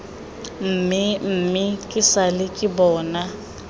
mmemme ke sale ke bona